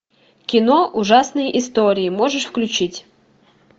кино ужасные истории можешь включить